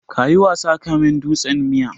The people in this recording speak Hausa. Ka yi wasa kaman dutsen miya.